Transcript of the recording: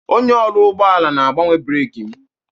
Onye ọrụ ụgbọala na-agbanwe breeki m